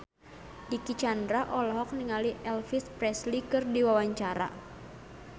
Dicky Chandra olohok ningali Elvis Presley keur diwawancara